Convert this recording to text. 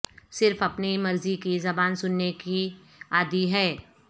صرف اپنی مرضی کی زبان سننے کی عادی ہے